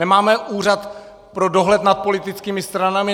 Nemáme Úřad pro dohled nad politickými stranami?